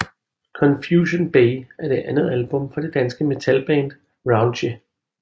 Confusion Bay er det andet album fra det danske metalband Raunchy